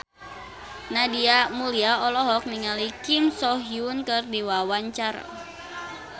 Nadia Mulya olohok ningali Kim So Hyun keur diwawancara